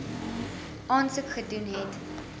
aansoek gedoen het